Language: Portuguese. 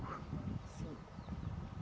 Cinco.